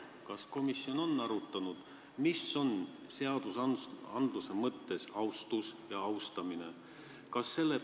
Kas komisjon on arutanud, mis on seadusandluse mõttes austus ja austamine?